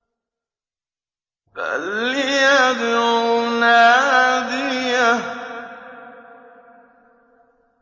فَلْيَدْعُ نَادِيَهُ